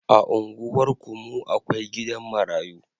A unguwarku mu akwai gidan marayu